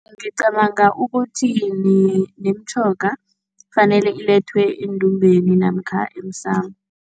Ngicabanga ukuthi nemitjhoga kufanele ilethwe endumbheni namkha emsamo.